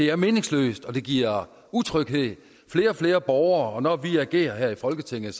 er meningsløst og det giver utryghed flere og flere borgere henvender sig når vi agerer her i folketinget